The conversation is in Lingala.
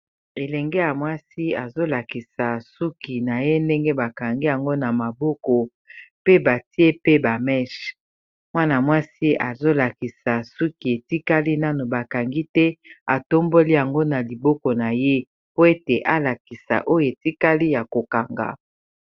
elenge ya mwasi azolakisa suki na ye ndenge bakangi yango na maboko pe batie pe bameche mwana-mwasi azolakisa suki etikali nano bakangi te atomboli yango na liboko na ye po ete alakisa oyo etikali ya kokanga